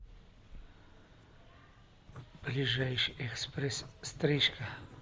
ближайший экспресс стрижка